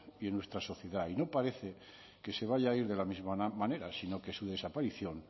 y en nuestra sociedad y no parece que se vaya a ir de la misma manera sino que su desaparición